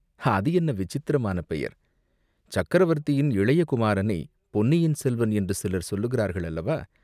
அது என்ன விசித்திரமான பெயர், சக்கரவர்த்தியின் இளைய குமாரனைப் பொன்னியின் செல்வன் என்று சிலர் சொல்லுகிறார்கள் அல்லவா